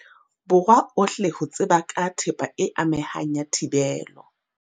Borwa ohle ho tseba ka thepa e amehang ya thibelo.